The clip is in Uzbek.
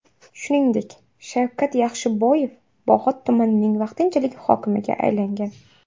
Shuningdek, Shavkat Yaxshiboyev Bog‘ot tumanining vaqtinchalik hokimiga aylangan .